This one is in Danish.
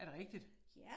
Er det rigtigt?